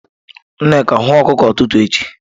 Nneka, hụọ okuko ututu echi!